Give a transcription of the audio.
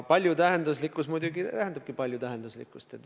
Paljutähenduslikkus muidugi tähendab paljutähenduslikkust.